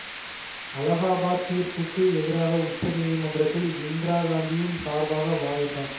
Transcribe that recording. அலகாபாத் தீர்ப்புக்கு எதிராக உச்ச நீதிமன்றத்தில் இந்திரா காந்தியின் சார்பாக வாதிட்டார்